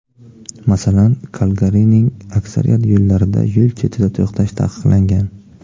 Masalan, Kalgarining aksariyat yo‘llarida yo‘l chetida to‘xtash taqiqlangan.